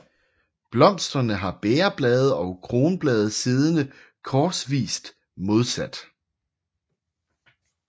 Blomsterne har bægerblade og kronblade siddende korsvist modsat